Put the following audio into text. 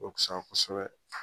O fisaya kosɛbɛ